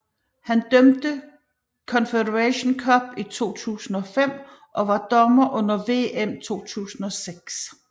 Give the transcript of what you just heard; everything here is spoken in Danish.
Han dømte Confederations Cup i 2005 og var dommer under VM 2006